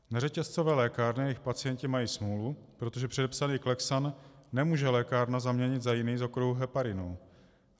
Neřetězcové lékárny a jejich pacienti mají smůlu, protože předepsaný Clexane nemůže lékárna zaměnit za jiný z okruhu heparinů.